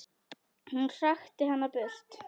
Hún hrakti hana burt.